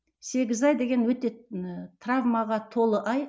сегіз ай деген өте ііі травмаға толы ай